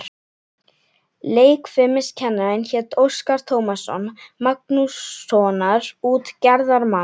Leikfimiskennarinn hét Óskar Tómasson, Magnússonar út- gerðarmanns.